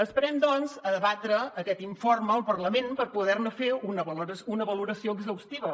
esperem doncs a debatre aquest informe al parlament per poder ne fer una valoració exhaustiva